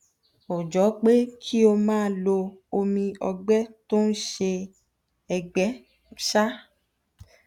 ó jọ pé kí o máa lo omi ọgbẹ tó ń ṣe ẹgbẹ um